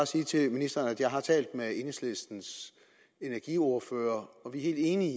sige til ministeren at jeg har talt med enhedslistens energiordfører og vi er helt enige